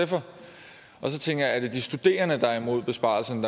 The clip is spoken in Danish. tænker jeg er det de studerende der er imod besparelserne